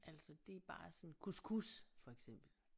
Altså det er bare sådan couscous for eksempel